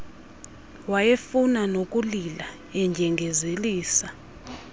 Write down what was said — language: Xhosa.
wayefuna nokulila endyengezelisa